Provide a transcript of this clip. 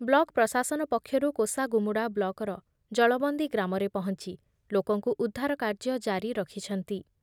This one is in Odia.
ବ୍ଲକ ପ୍ରଶାସନ ପକ୍ଷରୁ କୋଷାଗୁମୁଡ଼ା ବ୍ଲକର ଜଳବନ୍ଦୀ ଗ୍ରାମରେ ପହଞ୍ଚି ଲୋକଙ୍କୁ ଉଦ୍ଧାର କାର୍ଯ୍ୟ ଜାରି ରଖିଛନ୍ତି ।